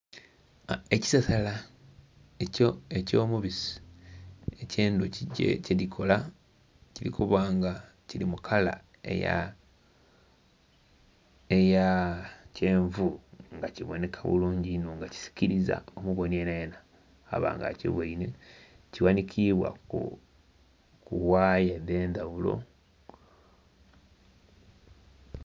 Ekisasala eky'omubisi eky'endhuki kyedhikola. Kili kuba nga kili mu kala eya...eya kyenvu nga kibonheka bulungi inho nga kisikiliza omubonhi yenayena aba nga akibweinhe. Kighanhikibwa ku waaya dh'endhaghulo.